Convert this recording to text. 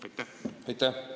Aitäh!